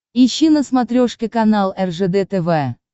ищи на смотрешке канал ржд тв